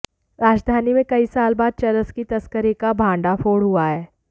राजधानी में कई साल बाद चरस की तस्करी का भंडाफोड़ हुआ है